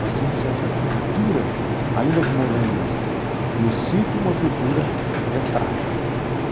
Nós tínhamos essa cultura, ainda que morando no sítio, uma cultura letrada.